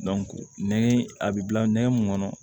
nɛgɛ a bɛ bila nɛgɛ mun kɔnɔ